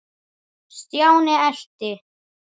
Stjáni elti.